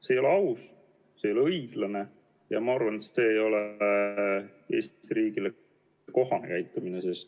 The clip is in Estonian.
See ei ole aus, see ei ole õiglane ja ma arvan, et see ei ole Eesti riigile kohane käitumine.